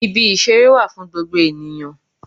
Ibi ìṣeré wà fún gbogbo ènìyàn